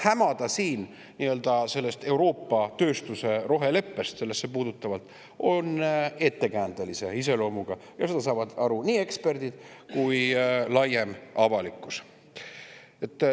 Hämada siin sellest Euroopa tööstuse roheleppest sellesse puutuvalt on ettekäändelise iseloomuga ja sellest saavad aru nii eksperdid kui laiem avalikkus.